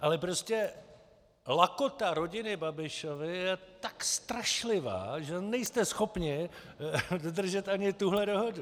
Ale prostě lakota rodiny Babišovy je tak strašlivá, že nejste schopni dodržet ani tuhle dohodu!